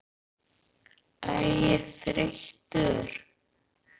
Framsóknarmenn voru sterkir á Snæfellsnesi eins og á Austurlandi.